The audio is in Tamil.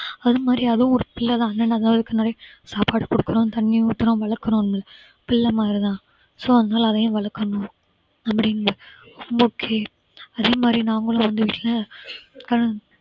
அது மாதிரி அதுவும் ஒரு பிள்ளை தான் ஆனா நாங்க அதுக்கு நிறைய சாப்பாடு குடுக்கிறோம் தண்ணி ஊத்துறோம் வளர்க்கிறோம்னு பிள்ளை மாதிரி தான் so அதனால அதையும் வளர்க்கிறோம்னு அப்படின்னு okay அதே மாதிரி நாங்களும் வந்து வீட்ல